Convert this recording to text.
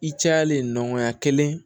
I cayalen nɔgɔya kelen